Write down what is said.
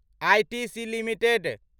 ITC limited